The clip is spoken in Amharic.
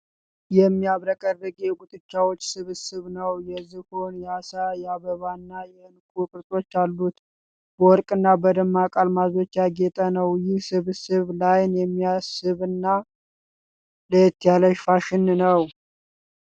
የሚያብረቀርቅ የጉትቻዎች ስብስብ ነው። የዝሆን፣ የዓሣ፣ የአበባና የዕንቁ ቅርጾች አሉት። በወርቅና በደማቅ አልማዞች ያጌጠ ነው። ይህ ስብስብ ለዓይን የሚስብና ለየት ያለ ፋሽን ነው።